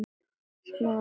Smári kímdi.